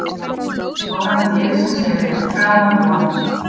Árangur liðsins hefur verið framar vonum